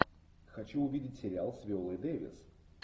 хочу увидеть сериал с виолой дэвис